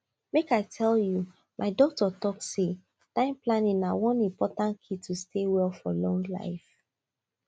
make i tell you my doctor talk say time planning na one important key to stay well for long time